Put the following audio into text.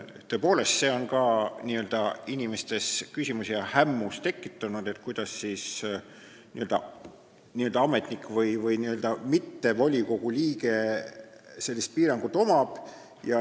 Tõepoolest, see on ka inimestes küsimusi ja hämmust tekitanud, et kuidas siis ametnikul või mitte volikogu liikmel selline piirang on.